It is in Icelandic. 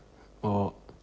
og